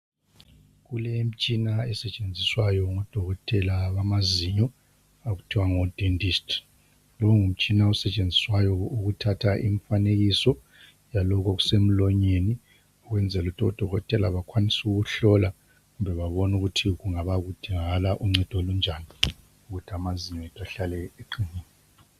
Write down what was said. Kulemtshina esetshenziswayo ngodokotela bamazinyo, okuthiwa ngodentist. Lo ngumtshina osetshenziswayo ukuthatha imifanekiso lalokho okusemlonyeni ukwenzela ukuthi odokotela bakwanise ukuhlola kumbe babone ukuthi kudingakala uncedo olunjani ukuthi amazinyo ahlale eqinile.